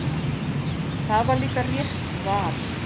Það var líka rétt val.